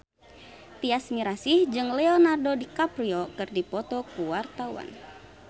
Tyas Mirasih jeung Leonardo DiCaprio keur dipoto ku wartawan